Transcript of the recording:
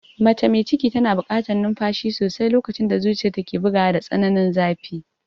Mace mai ciki tana buƙatar numfashi sosai lokacin da zuciyarta ke bugawa da tsananin zafi.